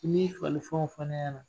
N'i y'i fagalifɛnw fɔ ne ɲɛna